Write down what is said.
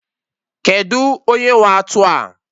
Kedụ onye nwe atụ a?